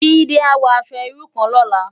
Jide á wò aṣò irú kán lòlá